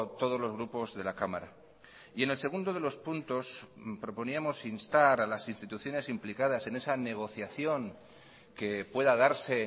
todos los grupos de la cámara y en el segundo de los puntos proponíamos instar a las instituciones implicadas en esa negociación que pueda darse